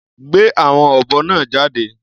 Gbé àwọn ọ̀bọ náà jáde.